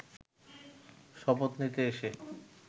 শপথ নিতে এসে